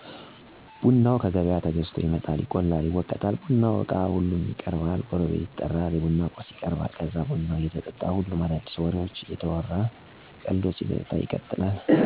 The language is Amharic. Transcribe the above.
ቡናው ከገበያ ተገዝቶ ይመጣል፣ ይቆላል፣ ይወቀጣል፣ የቡናው እቃ ሁሉም ይቀረባል፣ ጎረቤት ይጠራል፣ የቡና ቁርስ ይቀረባል ከዛ ቡናው እየተጠጣ ሁሉም አዳዲሲ ወሬዎችን እንዲሁ መልክት አዘል ቀልዶችን እየተቀላለዱ እየተጫዎቱ ቡናውን ይጠጣሉ።